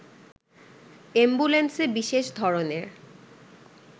অ্যাম্বুলেন্সে বিশেষ ধরনের